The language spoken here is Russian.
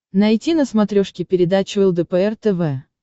найти на смотрешке передачу лдпр тв